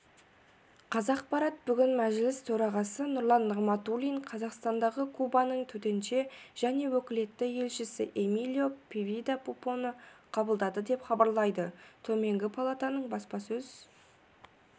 қазақпарат бүгін мәжіліс төрағасы нұрлан нығматулин қазақстандағы кубаның төтенше және өкілетті елшісі эмилио певида пупоны қабылдады деп хабарлайды төменгі палатаның баспасөз